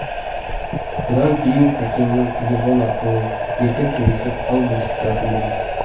бұдан кейін тәкеңмен телефон арқылы еркін сөйлесіп хал білісіп тұратын болдым